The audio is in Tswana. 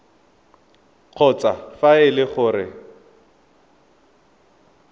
kgotsa fa e le gore